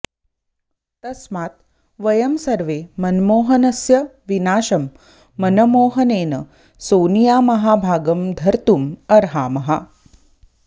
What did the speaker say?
तस्मात् वयं सर्वे मनमोहनस्य विनाशं मनमोहनेन सोनियामहाभागं धर्तुम् अर्हामः